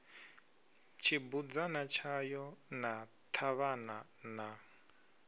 tshibudzana tshayo na ṱhavhana na